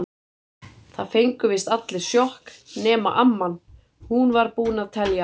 Það fengu víst allir sjokk- nema amman, hún var búin að telja.